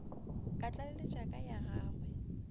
ka tlaleletša ka ya gagwe